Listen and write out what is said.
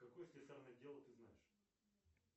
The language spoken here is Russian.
какое слесарное дело ты знаешь